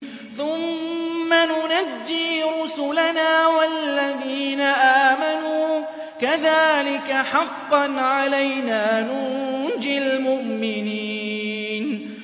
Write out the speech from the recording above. ثُمَّ نُنَجِّي رُسُلَنَا وَالَّذِينَ آمَنُوا ۚ كَذَٰلِكَ حَقًّا عَلَيْنَا نُنجِ الْمُؤْمِنِينَ